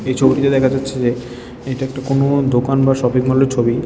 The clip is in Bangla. এই ছবিটিতে দেখা যাচ্ছে যে এটা একটা কোন দোকান বা শপিংমলের ছবি।